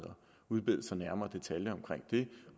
udbede sig nærmere detaljer om det